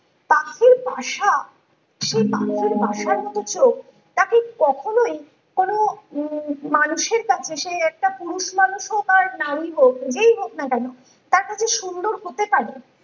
পাখির বাসা সেই পাখির বাসা মতো চোখ তাকে কখনই কোনো উম মানুষের কাছে সে একটা পুরুষ মানুষ হোকআর নারী হোক যেই হোক না তার কাছে সুন্দর হতে পারে